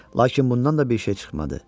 Lakin bundan da bir şey çıxmadı.